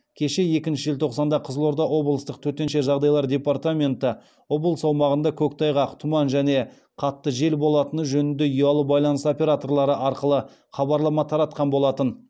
кеше екінші желтоқсанда қызылорда облыстық төтенше жағдайлар департаменті облыс аумағында көктайғақ тұман және қатты жел болатыны жөнінде ұялы байланыс операторлары арқылы хабарлама таратқан болатын